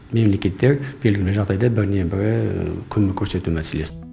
мемлекеттер белгілі бір жағдайда біріне бірі көмек көрсету мәселесі